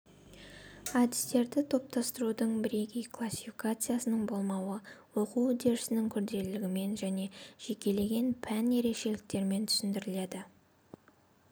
әдістерді топтастырудың бірегей классификациясының болмауы оқу үдерісінің күрделілігімен және жекелеген пән ерекшеліктерімен түсіндіріледі